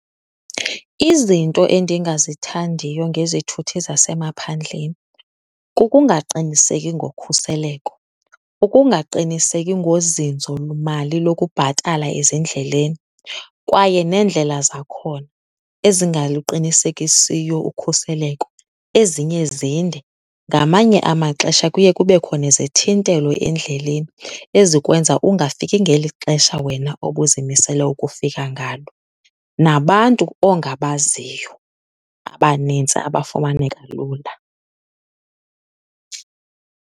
Izinto endingazithandiyo ngezithuthi zasemaphandleni kukungaqiniseki ngokhuseleko, ukungaqiniseki ngozinzomali lokubhatala ezindleleni kwaye neendlela zakhona ezingaluqinisekisiyo ukhuseleko, ezinye zinde. Ngamanye amaxesha kuye kubekho nezithintelo endleleni ezikwenza ungafiki ngeli xesha wena obuzimisele ukufika ngalo, nabantu ongabaziyo abanintsi abafumaneka lula.